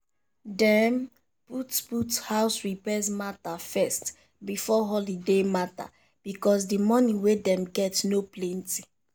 dem put put house repairs matter first before holiday matter because the money wey dem get no plenty.